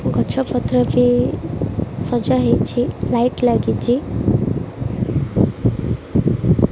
ଗଛ-ପତ୍ରଟି ସଜା ହେଇଛି। ଲାଇଟ ଲାଗିଛି।